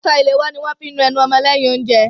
Aṣọ ìléwọ́ ni wọ́n fí ń nu ẹnu ọmọ lẹ́yìn oúnjẹ.